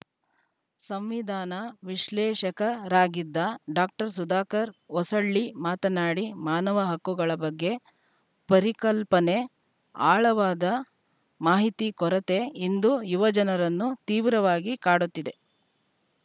ಸಂವಿಧಾನ ವಿಶ್ಲೇಷಕರಾಗಿದ್ದ ಡಾಕ್ಟರ್ ಸುಧಾಕರ ಹೊಸಳ್ಳಿ ಮಾತನಾಡಿ ಮಾನವ ಹಕ್ಕುಗಳ ಬಗ್ಗೆ ಪರಿಕಲ್ಪನೆ ಆಳವಾದ ಮಾಹಿತಿ ಕೊರತೆ ಇಂದು ಯುವ ಜನರನ್ನು ತೀವ್ರವಾಗಿ ಕಾಡುತ್ತಿದೆ